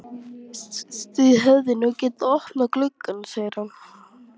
Þið hefðuð nú getað opnað gluggann, segir hann.